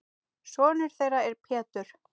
Sonur þeirra er Pétur.